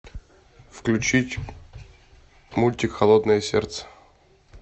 включить мультик холодное сердце